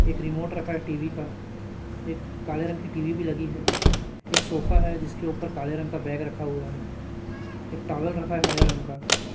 एक रिमोट रखा है टी_वी का एक काले रंग की टी_वी भी लगी है एक सोफा है जिसके ऊपर काले रंग का बैग रखा हुआ है एक टॉवेल रखा है हरे रंग का।